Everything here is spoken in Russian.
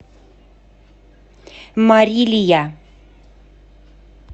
марилия